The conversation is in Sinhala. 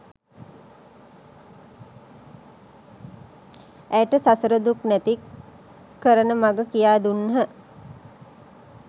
ඇයට සසර දුක් නැති කරන මඟ කියා දුන්හ.